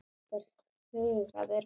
kallaði einhver hugaður maður.